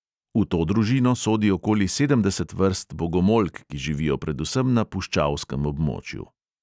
V to družino sodi okoli sedemdeset vrst bogomolk, ki živijo predvsem na puščavskem območju.